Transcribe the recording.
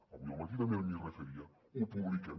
avui al matí també m’hi referia ho publiquem